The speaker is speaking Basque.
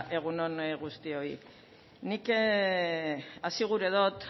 egun on guztioi nik hasi gura dot